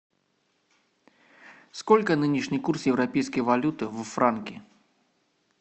сколько нынешний курс европейской валюты в франки